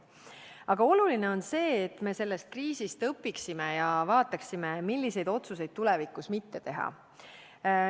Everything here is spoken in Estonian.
Aga oluline on see, et me sellest kriisist õpiksime ja vaataksime, milliseid otsuseid tulevikus mitte teha.